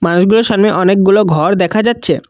মানুষগুলোর সামনে অনেকগুলো ঘর দেখা যাচ্ছে।